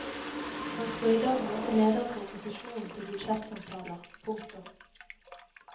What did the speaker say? Han skal i dag møte ledere for opposisjonen til budsjettsamtaler. punktum